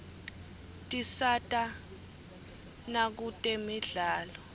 tisata nakutemidlalo